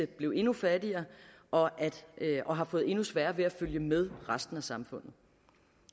blevet endnu fattigere og og har fået endnu sværere ved at følge med resten af samfundet